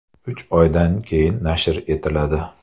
Uch oydan keyin nashr etiladi.